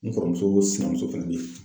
N kɔrɔmuso sinamuso fɛnɛ be yen.